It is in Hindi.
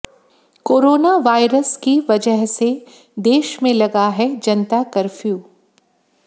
कोरोना वायरस की वजह से देश में लगा है जनता कर्फ्यू